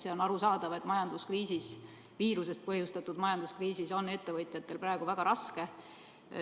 See on arusaadav, et majanduskriisis, viirusest põhjustatud majanduskriisis on ettevõtjatel praegu väga raske.